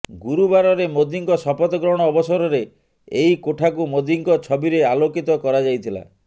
ଗୁରୁବାରରେ ମୋଦୀଙ୍କ ଶପଥ ଗ୍ରହଣ ଅବସରରେ ଏହି କୋଠାକୁ ମୋଦୀଙ୍କ ଛବିରେ ଆଲୋକିତ କରାଯାଇଥିଲା